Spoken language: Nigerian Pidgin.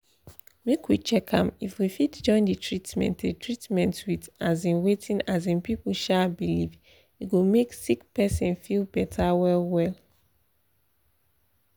make we check am if we fit join the treatment the treatment with um wetin um people um believe e go make sick person feel better well well.